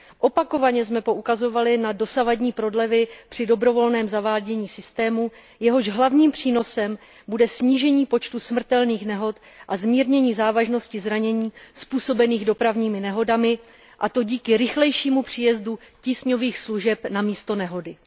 Opakovaně jsme poukazovali na dosavadní prodlevy při dobrovolném zavádění systému, jehož hlavním přínosem bude snížení počtu smrtelných nehod a zmírnění závažnosti zranění způsobených dopravními nehodami, a to díky rychlejšímu příjezdu tísňových služeb na místo nehody.